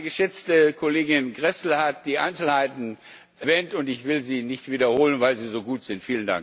Meine geschätzte Kollegin Gräßle hat die Einzelheiten erwähnt, und ich will sie nicht wiederholen, weil sie so gut sind.